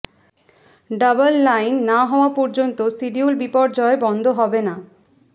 double line না হওয়া পর্যন্ত সিডিউল বিপর্যয় বন্ধ হবে না